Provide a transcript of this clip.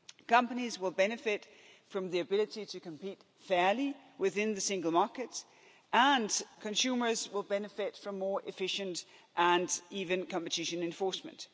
Companies will benefit from the ability to compete fairly within the single market and consumers will benefit from more efficient and even competition enforcement.